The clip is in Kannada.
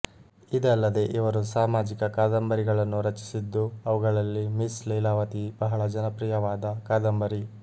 ಇದಲ್ಲದೆ ಇವರು ಸಾಮಾಜಿಕ ಕಾದಂಬರಿಗಳನ್ನೂ ರಚಿಸಿದ್ದು ಅವುಗಳಲ್ಲಿ ಮಿಸ್ ಲೀಲಾವತಿ ಬಹಳ ಜನಪ್ರಿಯವಾದ ಕಾದಂಬರಿ